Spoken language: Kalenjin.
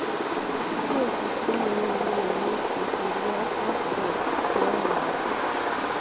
Jesus komanyoru ureriet kosirge ak Watford ko-aeng kasit.